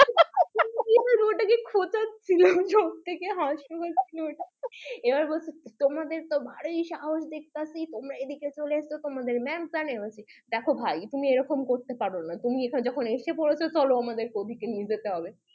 সব থেকে হাসির ছিল ওটা এবার বলছে তোমাদের তো ভালোই সাহস দেখতাছি তোমরা এদিকে চলে আসছো তোমাদের ma'am জানে বলছি দেখো ভাই তুমি এরকম করতে পারোনা তুমি যখন এসে পড়েছো চলো আমাদের কে ওদিকে নিয়ে যেতে হবে